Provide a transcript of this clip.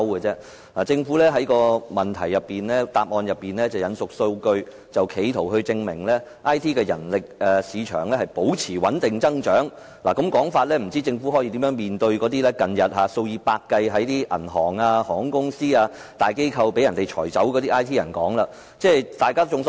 政府在主體答覆中引述數據，試圖證明 IT 人力市場保持穩定增長，但政府這種說法如何面對近日數以百計從銀行、航空公司、大機構被裁減的 IT 員工。